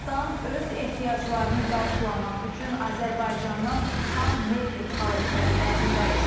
Pakistan öz ehtiyaclarını qarşılamaq üçün Azərbaycandan xam neft idxal etmək niyyətindədir.